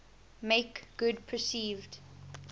make good perceived